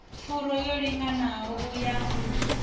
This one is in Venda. furu yo linganaho ya u